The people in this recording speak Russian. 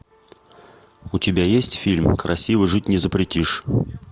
у тебя есть фильм красиво жить не запретишь